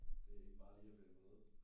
Det ikke bare lige at finde på noget